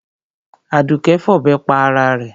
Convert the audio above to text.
Àdùké fọ̀bẹ pa ara rẹ̀.